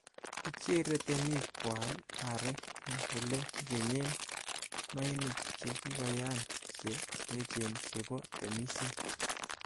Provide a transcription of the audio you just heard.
Kichere temik ko aal aarek en ele kikenyen mainik che kikoyaan che echen chebo temisiet.